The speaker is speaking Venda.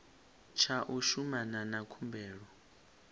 tsha u shumana na khumbelo